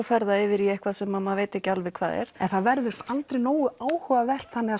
fer yfir í eitthvað sem maður veit ekki alveg hvað er en það verður aldrei nógu áhugavert þannig að